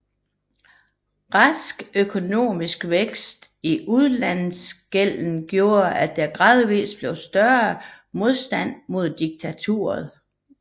Rask økonomisk vækst i udenlandsgælden gjorde at der gradvis blev større modstand mod diktaturet